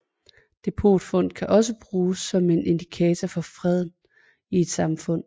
Depotfund kan også bruges som en indikator for freden i et samfund